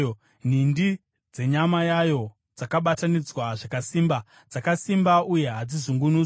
Nhindi dzenyama yayo dzakabatanidzwa zvakasimba; dzakasimba uye hadzizungunuswi.